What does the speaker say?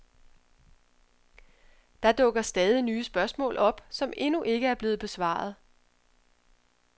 Der dukker stadig nye spørgsmål op, som endnu ikke er blevet besvaret.